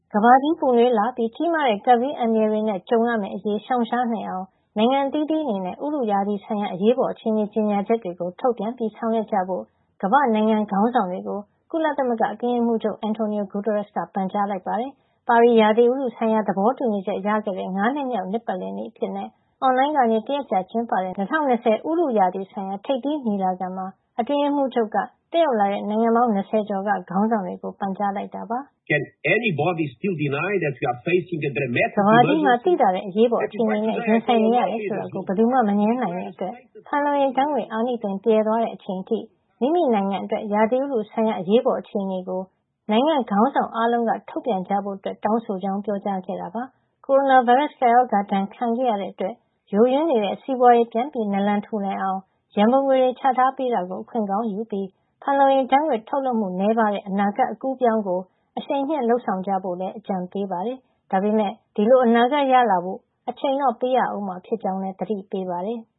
ကမ္ဘာကြီးပူနွေးလာပြီး ကြီးမားတဲ့ ကပ်ဘေးအန္တရာယ်တွေနဲ့ ကြုံမယ့်အရေး ရှောင်ရှားနိုင်အောင် နိုင်ငံအသီးသီးအနေနဲ့ ရာသီဥတုဆိုင်ရာ အရေးပေါ်အခြေအနေ ကြေညာချက်တွေ ထုတ်ပြန်ပြီး ဆောင်ရွက်ကြဖို့ ကမ္ဘာ့နိုင်ငံခေါင်းဆောင်တွေကို ကုလသမဂ္ဂ အတွင်းရေးမှူးချုပ် Antonio Guterres က ပန်ကြားလိုက်ပါတယ်။ ပါရီ ဥတုရာသီဆိုင်ရာ သဘောတူညီချက်ရခဲ့တဲ့ ၅ နှစ်မြောက် နှစ်ပတ်လည်နေ့အဖြစ် ကုလသမဂ္ဂ၊ ဗြိတိန်နဲ့ ပြင်သစ်တို့ ကမကထလုပ်ပြီး အွန်လိုင်းကနေ တရက်ကြာကျင်းပတဲ့ ၂၀၂၀ ဥတုရာသီဆိုင်ရာ ထိပ်သီးညီလာခံ (Climate Ambition Summit 2020) မှာ အတွင်းရေးမှူးချုပ်က တက်ရောက်လာကြတဲ့ နိုင်ငံပေါင်း ၇၀ ကျော်က ခေါင်းဆောင်တွေကို ပန်ကြားလိုက်တာပါ။ “ကမ္ဘာကြီးမှာ သိသာတဲ့ အရေးပေါ်အခြေအနေနဲ့ ရင်ဆိုင်နေရတယ် ဆိုတာကို ဘယ်သူမှ မငြင်းနိုင်တဲ့အတွက် ဖန်လုံအိမ်ဓာတ်ငွေ့ အာနိသင်ပြယ်သွားတဲ့ အချိန်အထိ မိမိနိုင်ငံအတွက် ဥတုရာသီဆိုင်ရာ အရေးပေါ်အခြေနေကို နိုင်ငံ့ခေါင်းဆောင်အားလုံးက ထုတ်ပြန်ကြဖို့ တောင်းဆိုကြောင်း” ပြောကြားခဲ့တာပါ။ ကိုရိုနာဗိုင်းရပ်စ် ကပ်ရောဂါဒဏ် ခံခဲ့ရတဲ့အတွက် ယိုယွင်းနေတဲ့ စီးပွားရေး ပြန်ထူထောင်နိုင်အောင် ရန်ပုံငွေတွေ ချထားပေးတာကို အခွင့်ကောင်းယူပြီး ဖန်လုံအိမ်ဓာတ်ငွေ့ ထုတ်လွှတ်မှု နည်းပါးတဲ့ အနာဂတ် အကူးအပြောင်းကို အရှိန်မြှင့် လုပ်ဆောင်ကြဖို့လည်း အတွင်းရေးမှူးချုပ်က အကြံပေးပါတယ်။ ဒါပေမယ့် ဒီလိုအနာဂတ်ရလာဖို့ အချိန်တော့ ပေးရဦးမှာဖြစ်ကြောင်း သတိပေးပါတယ်။